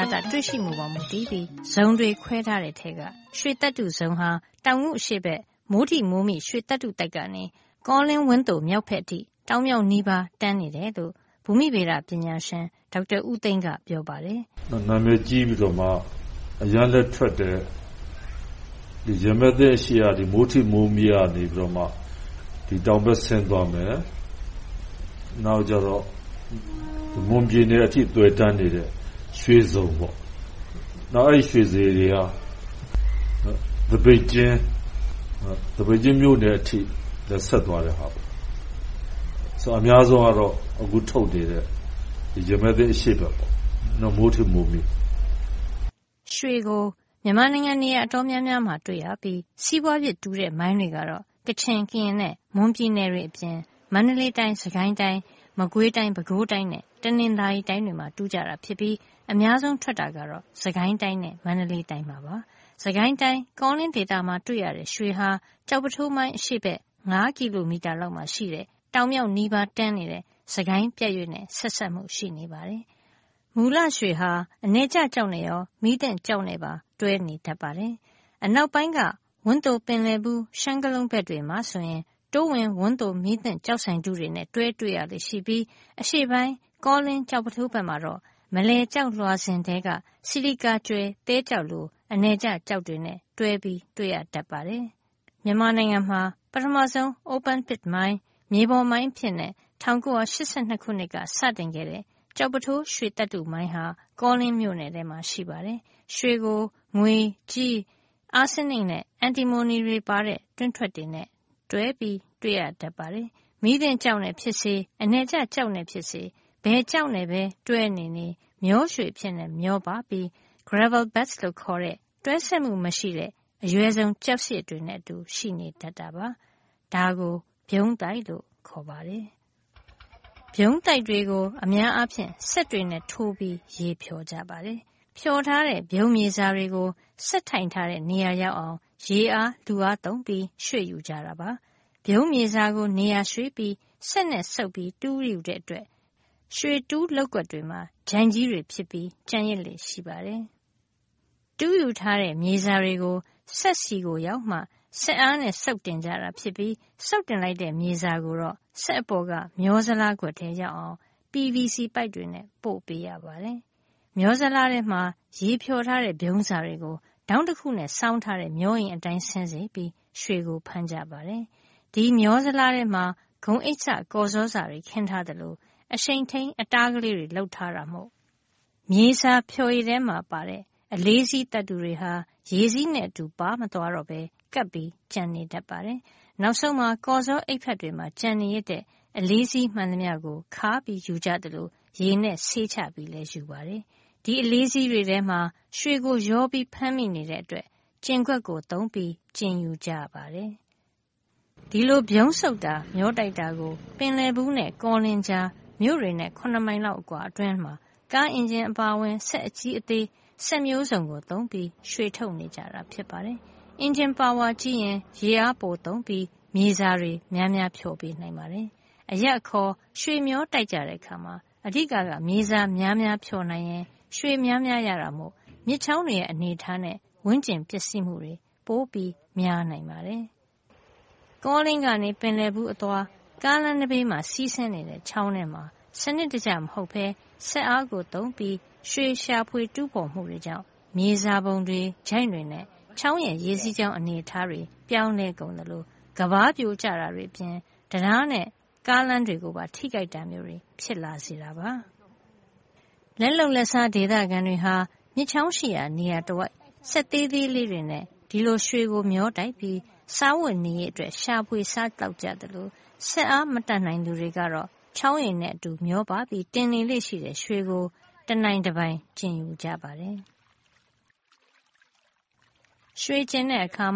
ာတ တွေ့ရှိမှုပေါ် မူတည်ပြီး ဇုံတွေ ခွဲထားတဲ့အထဲက ရွှေသတ္တုဇုံဟာ တောင်ငူအရှေ့ဘက်၊ မိုးထိမိုးမိ ရွှေသတ္တုသိုက်ကနေ ကောလင်း၊ ဝန်းသိုမြောက်ဘက်အထိ တောင်-မြောက်နီးပါး တန်းနေတယ်လို့ ဘူမိဗေဒပညာရှင် ဒေါက်တာဦးသိန်းက ပြောပါတယ်။ နာမည်ကြီးပြီးတော့မှ အရမ်းပဲထွက်တယ်… ရမည်သင်းအရှေ့ဘက်က မိုးထိမိုးမိကနေ တောင်ဘက်ဆင်းသွားမယ်။ နောက် မွန်ပြည်နယ်အထိ သွယ်တန်းနေတဲ့ ရွှေဇုံ။ အဲဒီရွှေဇုံတွေက သပိတ်ကျင်းမြို့နယ်အထိ ဆက်သွားတယ်။ အများဆုံးကတော့ အခုထုတ်နေတဲ့ ရမည်သင်းအရှေ့ဘက် မိုးထိမိုးမိပါ။ ရွှေကို မြန်မာနိုင်ငံ အတော်များများမှာ တွေ့ရပြီး စီးပွားဖြစ်တူးတဲ့ မိုင်းတွေကတော့ ကချင်၊ ကရင် နဲ့ မွန်ပြည်နယ်တွေအပြင် မန္တလေးတိုင်း၊ စစ်ကိုင်းတိုင်း၊ မကွေးတိုင်း၊ ပဲခူးတိုင်းနဲ့ တနင်္သာရီတိုင်းတို့မှာ တူးကြတာဖြစ်ပြီး၊ အများဆုံးထွက်တာကတော့ စစ်ကိုင်းတိုင်းနဲ့ မန္တလေးတိုင်းတို့ ဖြစ်ပါတယ်။ စစ်ကိုင်းတိုင်း ကောလင်း ဒေသမှာတွေ့ရတဲ့ ရွှေဟာ ကျောက်ပုထိုးမိုင်း အရှေ့ဘက် ကီလိုမီတာ လောက်မှာရှိတဲ့ တောင်မြောက်နီးပါးပဲတန်းနေတဲ့ စစ်ကိုင်းပြတ်ရွေ့နဲ့ ဆက်စပ်မှု ရှိနေပါတယ်။ မူလရွှေဟာ အနည်ကျကျောက်နဲ့ရော မီးသင့်ကျောက်နဲ့ပါ တွဲနေတတ်ပါတယ်။ အနောက်ပိုင်းက ဝန်းသို- ပင်လယ်ဘူး- ရှမ်းကလုံးဘက်တွေမှာဆိုရင် တိုးဝင် ဝန်းသို မီးသင့်ကျောက်စိုင်ထုနဲ့ တွဲတွေ့ရလေ့ရှိပြီး အရှေ့ပိုင်း ကောလင်း ကျောက်ပုထိုးဘက် မှာတော့ မလည်ကျောက်လွှာစဉ်ထဲက ဆီလီကာကြွယ်သဲကျောက်လို အနည်ကျကျောက်တွေနဲ့ တွဲပြီးတွေ့ရတတ်ပါတယ်။ မြန်မာနိုင်ငံမှာ ပထမဆုံး open pit မြေပေါ်မိုင်းအဖြစ် ၁၉၈၂ ခုနှစ်က စတင်ခဲ့တဲ့ ကျောက်ပုထိုး ရွှေသတ္တုမိုင်းဟာ ကောလင်းမြို့နယ်ထဲမှာ ရှိပါတယ်။ ရွှေကို ငွေ၊ ကြေး၊ အာဆင်းနစ်နဲ့ အန်တီမိုနီ တွင်းထွက်တွေနဲ့တွဲ တွေ့ရတတ်ပါတယ်။ မီးသင့်ကျောက်နဲ့ဖြစ်စေ အနည်ကျ ကျောက်နဲ့ဖြစ်စေ ဘယ်ကျောက်နဲ့ပဲ တွဲနေနေ မျောရွှေအဖြစ် မျောပါပြီး gravel bed လို့ခေါ်တဲ့ တွဲဆက်မှုမရှိတဲ့ အရွယ်စုံကျောက်စရစ်တွေနဲ့အတူ ရှိနေတတ်တာပါ။ ဒါကို ဗြုံးသိုက်လို့ ခေါ်ပါတယ်။ ဗြုံးသိုက်တွေကို အများအားဖြင့် စက်တွေနဲ့ ထိုးပြီးရေဖျော် ကြပါတယ်။ ဖျော်ထားတဲ့ ဗြုံးမြေစာတွေကို စက်ထိုင်ထားတဲ့ နေရာရောက်အောင် ရေအား၊ လူအားသုံး ရွှေ့ယူကြတာပါ။ ဗြုံးမြေစာကို နေရာရွှေ့ပြီး စက်နဲ့စုပ်၊ တူးယူတဲ့ အတွက် ရွှေတူးလုပ်ကွက်တွေမှာ ချိုင့်ကြီးတွေ ဖြစ်ကျန်ရစ်လေ့ ရှိပါတယ်။ တူးယူထားတဲ့ မြေစာတွေ စက်ဆီကို ရောက်မှ စက်အားနဲ့ စုပ်တင်ကြတာ ဖြစ်ပြီး စုပ်တင်လိုက်တဲ့ မြေစာကိုတော့ စက်အပေါ်က မျောဇလားခွက် ထဲရောက်အောင် PVC ပိုက်တွေနဲ့ ပို့ပေးရပါတယ်။ မျောဇလားထဲမှာ ရေဖျော်ထားတဲ့ ဗြုံးစာတွေကို ထောင့်တခုနဲ့ စောင်းထားတဲ့ မျောအိမ် အတိုင်း ဆင်းစေပြီး ရွှေကို ဖမ်းကြတာပါ။ ဒီမျောဇလားထဲမှာ ဂုံအိတ်စ ကော်ဇောစတွေ ခင်းထားသလို အရှိန်ထိမ်း အတားလေးတွေ လုပ်ထား တာမို့ မြေစာဖျော်ရည်ထဲမှာပါတဲ့ အလေးစီး သတ္တုတွေဟာ ရေစီးနဲ့ အတူပါမသွားတော့ပဲ ကပ်ကျန် နေတာပါ။ နောက်ဆုံးမှာ ကော်ဇောအိပ်ဖတ်တွေမှာ ကျန်နေရစ်တဲ့ အလေးစီးမှန်သမျှကို ခါယူကြသလို ရေနဲ့ ဆေးချယူပါတယ်။ ဒီအလေးစီးတွေထဲမှာ ရွှေကို ရောဖမ်းမိနေတဲ့အတွက် ကျင်ခွက်သုံးပြီး ကျင်ယူကြပါတယ်။ ဒီလို ဗြုံးစုပ်တာ၊ မျောတိုက်တာကို ပင်လယ်ဘူးနဲ့ ကောလင်းကြား မြို့တွေနဲ့ မိုင်အကွာလောက် အတွင်းမှာ ကားအင်ဂျင်အပါအဝင် စက်အကြီးအသေး စက်မျိုးစုံ သုံးပြီး ရွှေထုတ်နေကြတာ ဖြစ်ပါတယ်။ အင်ဂျင်ပါဝါကြီးရင် ရေအားပိုသုံးပြီး မြေစာများများ ဖျော်ပေးနိုင်ပါတယ်။ အရပ်အခေါ် ရွှေမျောတိုက်ကြတဲ့အခါ အဓိကက မြေစာ များများဖျော်နိုင်ရင် ရွှေများများ ရတာမို့ မြစ်ချောင်းတွေရဲ့ အနေအထားနဲ့ ဝန်းကျင်ပျက်စီးမှုတွေ ပိုများနိုင်ပါတယ်။ ကောလင်းကနေ ပင်လယ်ဘူးအသွား ကားလမ်းနံဘေး စီးဆင်းနေတဲ့ ချောင်းထဲမှာ စံနစ်တကျမဟုတ်ဘဲ၊ စက်အားသုံပြီးး ရွှေရှာဖွေ တူးဖေါ်မှုတွေကြောင့် မြေစာပုံတွေ၊ ချိုင့်တွေနဲ့ ချောင်းရဲ့ ရေစီးကြောင်း အနေထား ပြောင်းကုန်သလို၊ ကမ်းပါးပြိုကျတာတွေအပြင်၊ တံတားနဲ့ ကားလမ်းတွေကိုပါ ထိခိုက်တာမျိုး ဖြစ်လာစေတာပါ။ လက်လုပ်လက်စား ဒေသခံတွေဟာ မြစ်ချောင်းရှိရာ နေရာတဝိုက် စက်သေးလေးတွေနဲ့ ဒီလို ရွှေမျောတိုက်ပြီး စားဝတ်နေရေးအတွက် ရှာဖွေစားသောက်ကြသလို စက်အား မတတ်နိုင် သူတွေကတော့ ချောင်းရေနဲ့အတူ မျောပါပြီး တင်နေလေ့ရှိတဲ့ ရွှေကို တနိုင်တပိုင် ကျင်ယူကြပါတယ်။ ရွှေကျင်တဲ့အခါ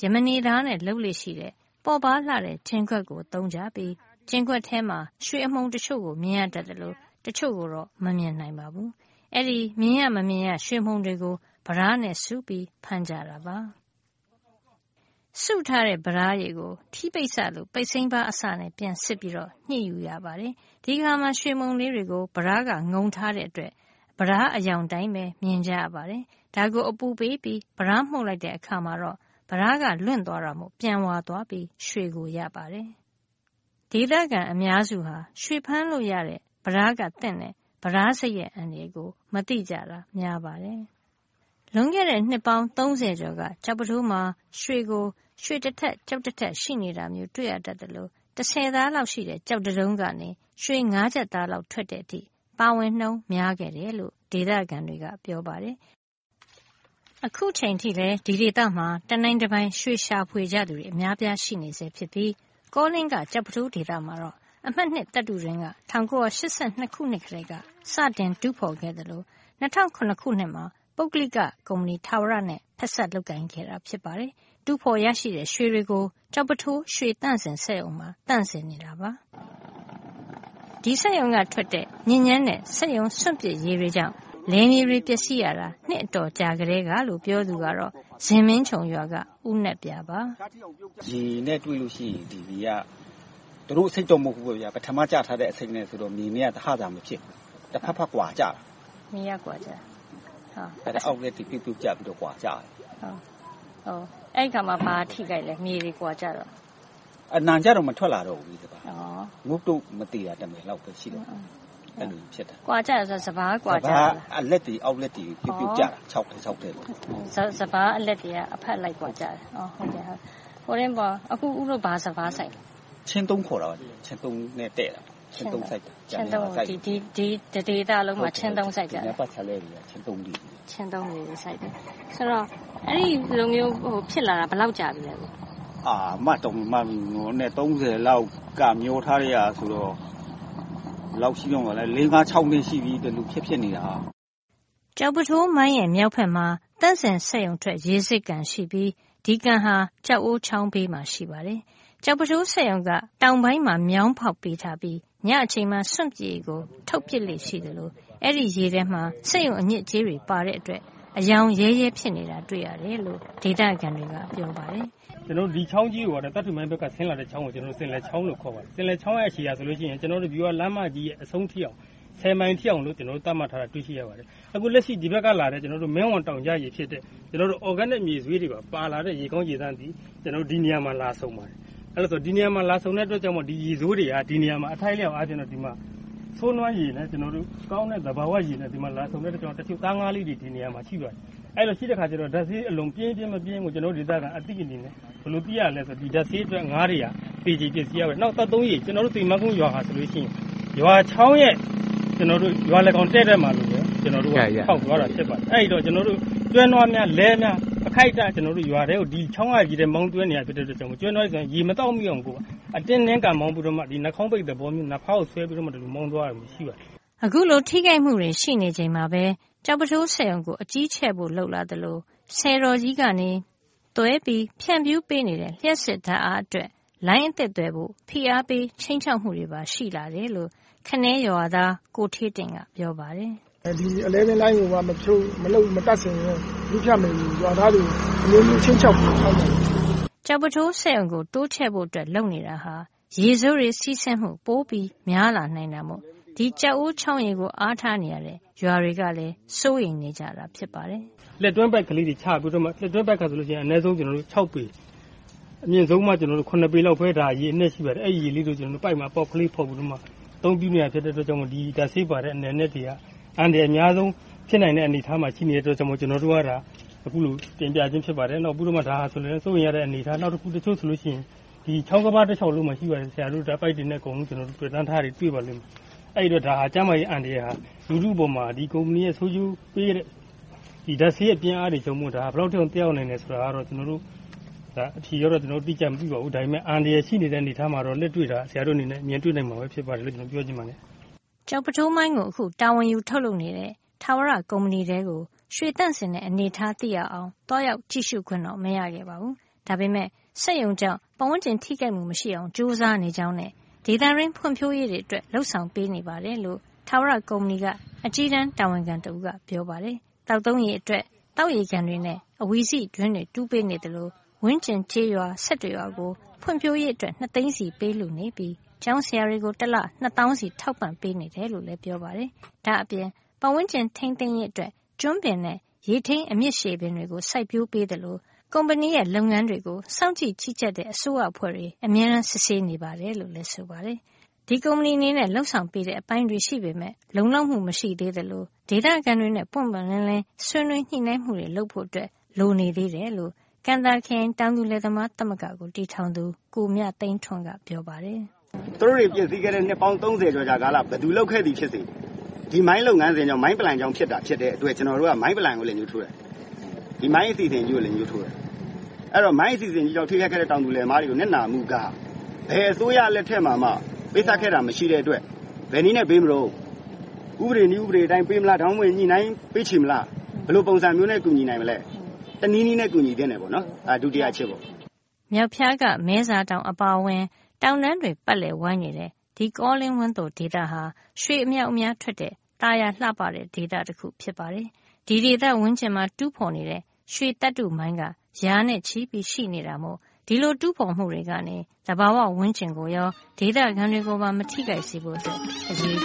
ယမနေသားနဲ့ လုပ်လေ့ရှိတဲ့ ပေါ့ပါးလှတဲ့ ကျင်ခွက်ကိုသုံးကြပြီး ကျင်ခွက်ထဲမှာ ရွှေအမှုန်တချို့ကို မြင်ရတတ်သလို တချို့ကိုတော့ မမြင်နိုင်ပါဘူး။ အဲဒီ မြင်ရမမြင်ရ ရွှေမှုန်တွေကို ပြဒါးနဲ့ စုပြီး ဖမ်းကြတာပါ။ စုထားတဲ့ ပြဒါးရည်ကို ထီးပိတ်စလို ပိတ်စိမ်းပါးအစနဲ့ ပြန်စစ်ပြီး ပြန်ညှစ်ယူကြပါတယ်။ ဒီအခါမှာ ရွှေမှုန်လေးတွေကို ပြဒါးကငုံထားတဲ့အတွက် ပြဒါးအရောင် အတိုင်းပဲ မြင်ကြရပါတယ်။ အဲဒါကို အပူပေးပြီး ပြဒါးမှုတ်လိုက်တဲ့အခါ ပြဒါးကလွင့်သွားတာမို့ ပြန်ဝါသွားပြီး ရွှေကို ရပါတယ်။ ဒေသခံအများစုဟာ ရွှေဖမ်းလို့ရတဲ့ ပြဒါးက သင့်တဲ့ ပြဒါးဆိပ်ရဲ့ အန္တရာယ်ကို မသိတာများပါတယ်။ လွန်ခဲ့တဲ့ နှစ်ပေါင်း ကျော်က ကျောက်ပုထိုးမှာ ရွှေကို ရွှေတထပ်ကျောက်တထပ် ရှိနေတာမျိုး တွေ့ရေတတ်သလို တဆယ်သားလောက်ရှိတဲ့ ကျောက်တတုံးကနေ ရွှေငါးကျပ်သားလောက် ထွက်တဲ့အထိ ပါဝင်နှုန်းများခဲ့တယ်လို့ ဒေသခံတွေက ပြောပါတယ်။ အခုအချိန်အထိလည်း ဒီဒေသမှာ တနိုင်တပိုင် ရွှေရှာဖွေကြသူတွေ အများအပြား ရှိနေဆဲဖြစ်ပြီး ကောလင်းက ကျောက်ပုထိုးဒေသမှာတော့ အမှတ် သတ္တုတွင်းက ၁၉၈၂ ခု ကတည်းက စတင်တူးဖေါ်ခဲ့သလို ၂၀၀၇ ခုနှစ်မှာ ပုဂ္ဂလိက ကုမ္ဗဏီထာဝရနဲ့ ဖက်စပ်လုပ်ကိုင်ခဲ့တာ ဖြစ်ပါတယ်။ တူးဖေါ်ရရှိတဲ့ ရွှေတွေကို ကျောက်ပုထိုး ရွှေသန့်စင်စက်ရုံမှာ သန့်စင်နေတာပါ။ ဒီစက်ရုံက ထွက်တဲ့ ညစ်ညမ်းတဲ့ စက်ရုံစွန့်ပစ်ရေတွေကြောင့် လယ်မြေတွေ ပျက်စီးရတာ နှစ်အတော်ကြာ ကတည်းကလို့ ပြောသူက ဇင်မင်းခြုံရွာက ဦးနက်ပြာပါ။ ဒီရေနဲ့တွေ့ရင် ဒီရေက သူတို့အဆိပ်တော့ မဟုတ်ဖူးပေါ့ဗျာ။ ပထမ ကျထားတဲ့ အဆိပ်ဆိုတော့ ဒီရေနဲ့တွေ့ရင် အပင်တွေက တဖတ်ဖတ် ကွာကျတယ်။ အဲဒီအခါမှာ ဘာတွေထိခိုက်လဲ။ မြေတွေကွာကျတော့။ အနံှကျတော့ မထွက်လာတော့ဘူး။ မသေရုံတမယ်လောက်ပဲ။ ကွာကျတယ်ဆိုတာ စပါး ကွာကျတာလား။ စပါး အလက်တွေ၊ အောက်လက်တွေ ပြုတ်ပြုတ်ကျတာ။ စပါးအလက်တွေက အဖတ်လက် ကွာကျတာ။ အခု ဦးတို့ ဘာစပါး စိုက်လဲ။ ချင်း ခေါ်တယ်။ ချင်း နဲ့ တည့်တယ်။ ဒီဒေသတဝိုက်မှာ ချင်း စိုက်ကြလား။ ဒီနားပတ်ဝန်းကျင်မှာ ချင်း စိုက်ကြတယ်။ အဲဒီလိုမျိုး ဖြစ်လာတာ ဘယ်လောက်ကြာပြီလဲ။ မှတ်တောင် မမှတ်မိဘူး။ အရင်အနှစ် လောက်ကပဲ။ မြောင်းထားတာဆိုတော့ လေးငါးခြောက်နှစ် ဒီလို ဖြစ်ဖြစ်နေတာ။ ကျောက်ပုထိုးမိုင်းရဲ့ မြောက်ဘက်မှာ သန့်စင်စက်ရုံထွက် ရေစစ်ကန်ရှိပြီး ဒီကန်ဟာ ကျောက်အိုးချောင်းဘေးမှာ ရှိပါတယ်။ ကျောက်ပုထိုးစက်ရုံက တောင်ပိုင်းမှာ မြောင်းဖေါက်ပေးထားပြီး ညအချိန်မှာ စွန့်ပစ်ရေကို ထုတ်ပစ်လေ့ရှိသလို ဒီရေထဲမှာ စက်ရုံအညစ်အကြေးတွေ ပါတဲ့အတွက် အရောင်ရဲရဲ ဖြစ်နေကို တာတွေ့ရတယ်လို့ ဒေသခံတွေက ပြောပါတယ်။ ဒီချောင်းကြီးကို သတ္တုမိုင်းဘက်က ဆင်းလာတဲ့ချောင်းကို ပင်လယ်ချောင်းလို့ ခေါ်ပါတယ်။ ပင်လယ်ချောင်းရဲ့ အရှည်က ကျနော်တို့ ဗျူဟာလမ်းမကြီးရဲ့ အဆုံးထိ မိုင်အထိ သတ်မှတ်ထားတာကို တွေ့ရှိရပါတယ်။ အခုလက်ရှီ ဒီဘက်ကလာတဲ့ မင်းဝံတောင်ကျရေ ဖြစ်တဲ့ အော်ဂဲနစ် မြေဆွေးတွေပါ ပါလာတဲ့ ရေကောင်းရေသန့်သည် ဒီနေရာမှာ လာဆုံပါတယ်။ ဒီနေရာမှာ လာဆုံတဲ့အတွက်ကြောင့်မို့ ရေဆိုးတွေက အထိုက်အလောက် ပါတာကြောင့်မို့ ဆိုးသွမ်းရေနဲ့ ကောင်းတဲ့ရေ လာဆုံတဲ့အတွက်ကြောင့်မို့ သားငါးလေးတွေ ဒီနေရာမှာ ရှိပါတယ်။ အဲဒီလို ရှိတဲ့အတွက်ကြောင့်မို့ ဓါတ်ဆိုးရေ ဘယ်လောက် ပြင်းမပြင်းဆိုတာကို ကျနော်တို့ဒေသ အသိအနေနဲ့ ဘယ်လို သိရသလဲဆိုတော့ ဒီဓါတ်ဆိုးရေကြောင့် ငါးတွေက သေကျေ ပျက်စီးရပါတယ်။ နောက် သောက်သုံးရေ - ကျွန်တော်တို့ သဖန်းကုန်းရွာဟာ ရွာချောင်းရဲ့ ရွာလယ်ခေါင်တည့်တည့်မှာပဲ ဖောက်ထားတာ ဖြစ်ပါတယ်။ အဲဒီတော့ ကျွန်တော်တို့ ကျွဲနွားများ၊ လှည်းများ အခိုက်အတန့် ရွာထဲကို ဒီချောင်းကရေထဲ မောင်းသွင်းရတဲ့အခါ ကျွဲနွားတွေ ဒီရေ မသောက်သုံးမိစေဖို့ အတင်းမောင်းရသလို၊ နှာခေါင်းပိတ်သဘောမျိုး နဖားကိုဆွဲပြီးတော့ မောင်းသွားရတာ ရှိပါတယ်။ အခုလို ထိခိုက်မှုတွေ ရှိနေချိန်မှာပဲ ကျောက်ပုထိုးစက်ရုံကို အကြီးချဲ့ဖို့ လုပ်လာသလို ဆည်တော်ကြီးကနေ သွယ်ပြီးဖြန့်ဖြူးပေးနေတဲ့ လျှပ်စစ်ဓါတ်အားအတွက် လိုင်းအသစ်သွယ်ဖို့ ဖိအားပေးခြိမ်းခြောက်မှုတွေပါ ရှိလာတယ်လို့ ခနဲရွာသား ကိုဌေးတင့်က ပြောပါတယ်။ ဒီ အလဲဗင်းလိုင်းကို မတပ်ဆင်ရင် မီးဖြတ်မယ်ဆို ရွာသားတွေကို အမျိုးမျိုးခြိမ်းခြောက်တယ်။ ကျောက်ပုထိုးစက်ရုံကို တိုးချဲ့ဖို့လုပ်နေတာဟာ ရေဆိုးတွေ စီးဆင်းမှု ပိုများလာနိုင်တာမို့ ကျောက်အိုးချောင်းရေကို အားထားနေရတဲ့ ရွာတွေကလည်း စိုးရိမ်နေကြတာ ဖြစ်ပါတယ်။ လက်တွင်းပိုက်ကလေးတွေ ချပြီးတော့ - လက်တွင်းပိုက်က အနည်းဆုံး ပေ၊ အမြင့်ဆုံး ပေလောက် ရေအနက် ရှိပါတယ်။ အဲဒီရေကို ပိုက်မှာ အပေါက်ကလေးဖောက်ပြီးတော့ အသုံးပြုနေရတာ ဖြစ်တဲ့အတွက်ကြောင့်မို့ ဓါတ်ဆေးပါတဲ့ အနယ်အနှစ်တွေက အန္တရာယ်အများဆုံး ဖြစ်နိုင်တဲ့အနေအထားမှာ ရှိတဲ့အတွက်ကြောင့်မို့ ကျနော်တို့က အခုလို တင်ပြခြင်း ဖြစ်ပါတယ်။ နောက်ပြီးတော့ ဒါက စိုးရိမ်ရတဲ့ အနေအထားတခု။ တချို့ဆိုရင် ချောင်းကမ်းပါးတလျှောက်လုံးမှာ ရှိပါတယ်။ ပိုက်တွေနဲ့ သွယ်တန်းထားတာ တွေ့ပါလိမ့်မယ်။ အဲဒီအတွက် ကျန်းမာရေးအန္တရာယ်ဟာ လူထုအပေါ်မှာ ဒီကုမ္ပဏီရဲ့ ဆိုးကျိုးပေးတဲ့ ဓါတ်ဆေးပြင်းအားတွေကြောင့် ဘယ်လောက်အထိ သက်ရောက်နိုင်တယ်ဆိုတာကတော့ အဖြေကတော့ အတိအကျ မသိပါဘူး။ ဒါပေမဲ့လို့ အန္တရာယ်ရှိနေတဲ့ အနေအထားမှာတော့ လက်တွေ့အနေနဲ့ ဆရာတို့ မြင်တွေ့နိုင်မှာ ဖြစ်ပါတယ်လို့ ပြောချင်ပါတယ်။ ကျောက်ပုထိုးမိုင်းကို အခု တာဝန်ယူထုတ်လုပ်နေတဲ့ ထာဝရကုမ္ဗဏီထဲကို ရွှေသန့်စင်တဲ့ အနေထား သိရအောင် သွားရောက် ကြည့်ရှုခွင့်တော့ မရခဲ့ပါဘူး။ ဒါပေမယ့် စက်ရုံကြောင့် ပတ်ဝန်းကျင် ထိခိုက်မှုမရှိအောင် ကြိုးစားနေကြောင်းနဲ့ ဒေသတွင်း ဖွံဖြိုးရေးတွေအတွက်လည်း လုပ်ဆောင်ပေးနေတယ်လို့ ထာဝရကုမ္ဗဏီက အကြီးတန်းတာဝန်ခံတဦးက ပြောပါတယ်။ သောက်သုံးရေအတွက် သောက်ရေကန်တွေနဲ့ အဝီစိတွင်းတွေ တူးပေးနေသလို ဝန်းကျင်ကျေးရွာ ရွာကို ဖွံ့ဖြိုးရေးအတွက် သိန်းစီ ပေးလှူနေပြီး ကျောင်းဆရာတွေကို တလ သောင်းစီ ထောက်ပံ့ နေတယ်လို့လည်း ပြောပါတယ်။ ဒါ့ပြင် ပတ်ဝန်းကျင် ထိမ်းသိမ်းရေးအတွက် ကျွန်းပင်နဲ့ ရေထိမ်းအမြစ်ရှည်အပင်တွေ စိုက်ပျိုးပေးသလို ကုမ္ဗဏီရဲ့ လုပ်ငန်းတွေကို စောင့်ကြည့် ကြီးကြပ်တဲ့ အစိုးရအဖွဲ့တွေက အမြဲတမ်းစစ်ဆေးနေတယ်လို့လည်း ပြောပါတယ်။ ဒီကုမ္ဗဏီအနေနဲ့ လုပ်ဆောင်ပေးတဲ့ အပိုင်းတွေ ရှိပေမယ့် လုံလောက်မှု မရှိသေးသလို ဒေသခံတွေနဲ့ ပွင့်ပွင့်လင်းလင်း ဆွေးနွေးညှိနှိုင်းမှုတွေ လုပ်ဖို့လိုနေ သေးတယ်လို့ ကံသာခရိုင် တောင်သူလယ်သမား သမဂ္ဂ KTRFU ကိုတည်ထောင်သူ ကိုမြသိန်းထွန်းက ပြောပါတယ်။ သူတို့တွေ ဖျက်ဆီးခဲ့တဲ့ နှစ်ပေါင်း ကျော်ကာလ ဘယ်သူလုပ်ခဲ့သည်ဖြစ်စေ ဒီမိုင်းလုပ်ငန်း၊ Mine plan ကြောင့် ဖြစ်တဲ့အတွက်ကြောင့် ကျနော်တို့က Mine Plan ကို လက်ညှိုးထိုးတယ်။ ဒီမိုင်းအစီအစဉ်ကြီးကို လက်ညှိုးထိုးတယ်။ အဲဒီကြောင့် မိုင်းအစီအစဉ်ကြီးကြောင့် ထိခိုက်ခဲ့တဲ့ တောင်သူလယ်သမားတွေကို နစ်နာမှုက ဘယ်အစိုးရလက်ထက်မှာမှ ပေးဆပ်ခဲ့တာ မရှိတဲ့အတွက် ဘယ်နည်းနဲ့ ပေးမလဲ။ ဥပဒေ၊ နည်းဥပဒေအတိုင်း ပေးမလား။ ဒါမှမဟုတ် ညှိနှိုင်းပေးခြေမလား။ ဘယ်လိုပုံစံမျိုးနဲ့ ကူညီနိုင်မလဲ။ တနည်းနည်းနဲ့ ကူညီသင့်တယ်။ မြောက်ဖျားက မဲဇာတောင်အပါအဝင် တောင်တန်းတွေပတ်လည်ဝိုင်းနေတဲ့ ကောလင်း-ဝန်းသို ဒေသဟာ ရွှေအမြောက်အများထွက်တဲ့ သာယာလှပတဲ့ ဒေသတခု ဖြစ်ပါတယ်။ ဒီဒေသဝန်းကျင်မှာ တူးဖေါ်နေတဲ့ ရွှေသတ္တုမိုင်းက ရာနဲ့ချီရှိနေတာမို့ ဒီလိုတူးဖေါ်မှုတွေကနေ သဘာဝဝန်းကျင်ကိုရော ဒေသခံတွေကိုပါ မထိခိုက်စေဖို့ အရေးကြီ